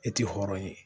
E tɛ hɔrɔn ye